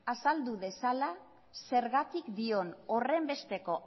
azaldu dezala zergatik dion horrenbesteko